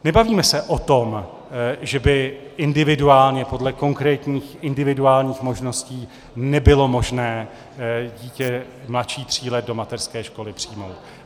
Nebavíme se o tom, že by individuálně, podle konkrétních individuálních možností, nebylo možné dítě mladší tří let do mateřské školy přijmout.